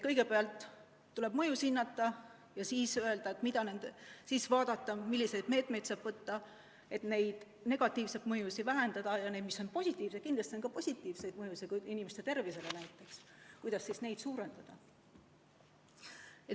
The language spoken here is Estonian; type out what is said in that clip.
Kõigepealt tuleb mõjusid hinnata ja siis vaadata, milliseid meetmeid saab võtta, et negatiivseid mõjusid vähendada ja positiivseid mõjusid suurendada – kindlasti on ka positiivseid mõjusid, inimeste tervisele näiteks.